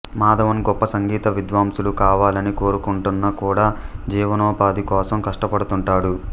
మాధవన్ గొప్ప సంగీత విద్వాంసులు కావాలని కోరుకొంటున్నా కూడా జీవనోపాధి కోసం కష్టపడుతుంటాడు